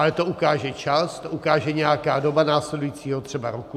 Ale to ukáže čas, to ukáže nějaká doba následujícího třeba roku.